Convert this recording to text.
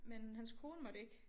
Men hans kone måtte ikke